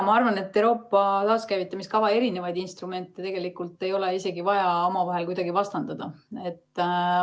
Ma arvan, et Euroopa taaskäivitamise kava instrumente ei ole isegi vaja omavahel kuidagi vastandada.